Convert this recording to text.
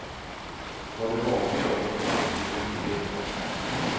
Vad det var för jobb hon fått, fick jag inte veta.